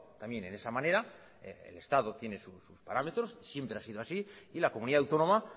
también en esa manera el estado tiene sus parámetros siempre ha sido así y la comunidad autónoma